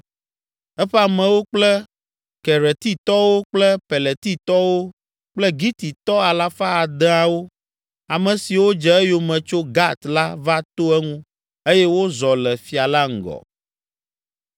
Eƒe amewo kple Keretitɔwo kple Peletitɔwo kple Gititɔ alafa adeawo, ame siwo dze eyome tso Gat la va to eŋu eye wozɔ le fia la ŋgɔ.